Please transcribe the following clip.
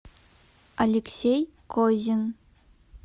алексей козин